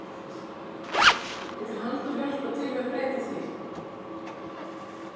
Getur Halldór hjálpað til við að breyta því?